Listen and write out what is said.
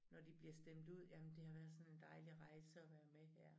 Når de bliver stemt ud jamen det har været sådan en dejlig rejse at være med her